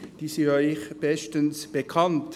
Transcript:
sie sind Ihnen bestens bekannt.